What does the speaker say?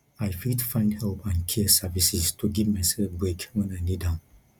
i fit find help and care services to give myself break wen i need am